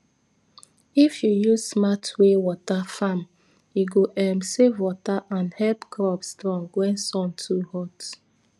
if you use smart way water farm e go um save water and help crop strong when sun too hot